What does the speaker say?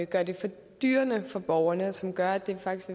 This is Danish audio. gør det fordyrende for borgerne altså som gør at det faktisk